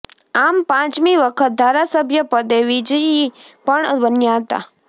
આમ પાંચમી વખત ધારાસભ્ય પદે વિજયી પણ બન્યા હતા